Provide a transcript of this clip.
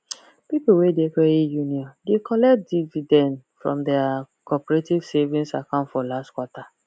people wey de credit union de collect dividend from their cooperative savings account for last quarter